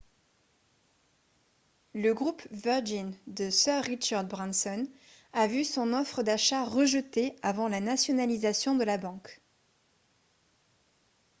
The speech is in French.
le groupe virgin de sir richard branson a vu son offre d'achat rejetée avant la nationalisation de la banque